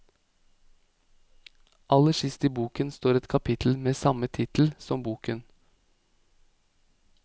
Aller sist i boken står et kapittel med samme tittel som boken.